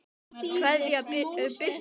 Kveðja, Birta María.